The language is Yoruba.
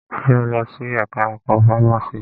Ṣe o lọ sí ẹka ẹ̀kọ́ fámási?